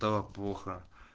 так плохо